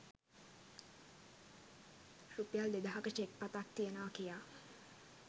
රුපියල් දෙදහක චෙක්පතක් තියෙනවා කියා